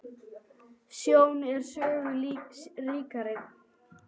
Sjón er sögu ríkari